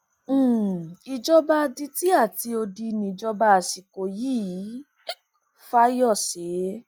ìjọba um adití àti odi níjọba àsìkò yìí fáyọsé